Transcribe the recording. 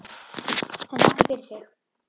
Hann þakkar fyrir sig.